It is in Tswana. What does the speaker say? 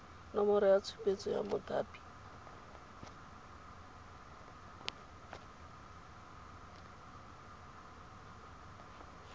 nomoro ya tshupetso ya mothapi